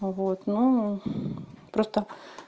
но вот ну просто